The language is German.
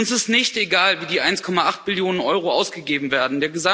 Uns ist nicht egal, wie die 1,8 Billionen Euro ausgegeben werden.